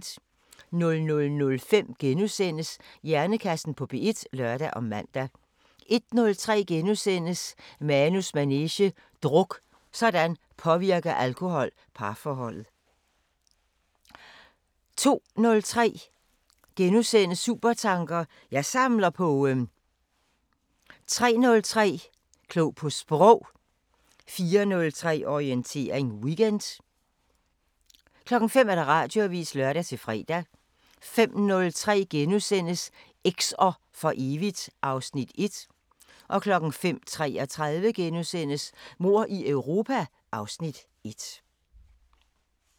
00:05: Hjernekassen på P1 *(lør og man) 01:03: Manus manege: Druk – sådan påvirker alkohol parforholdet! * 02:03: Supertanker: Jeg samler på ...* 03:03: Klog på Sprog 04:03: Orientering Weekend 05:00: Radioavisen (lør-fre) 05:03: Eks'er for evigt (Afs. 1)* 05:33: Mord i Europa (Afs. 1)*